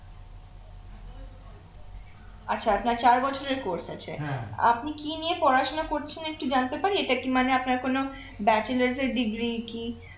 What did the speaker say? আচ্ছা আপনার চার বছরের course আছে আপনি কি নিয়ে পড়াশুনা করছেন একটু জানতে পারি এটা কি মানে আপনার কোন bachelor এর degree কি